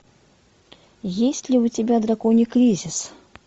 есть ли у тебя драконий кризис